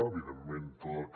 evidentment tot el que